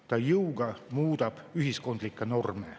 Ta muudab jõuga ühiskondlikke norme.